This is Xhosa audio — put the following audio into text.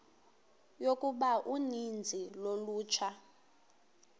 yokuba uninzi lolutsha